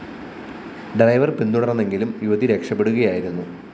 driver‍ പിന്തുടര്‍ന്നെങ്കിലും യുവതി രക്ഷപ്പെടുകയായിരുന്നു